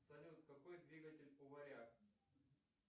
салют какой двигатель у варяг